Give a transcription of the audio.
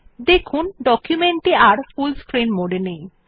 দেখুন ডকুমেন্ট টি আর ফুল স্ক্রিন মোড এ নেই